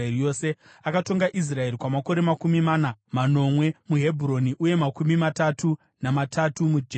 Akatonga Israeri kwamakore makumi mana, manomwe muHebhuroni uye makumi matatu namatatu muJerusarema.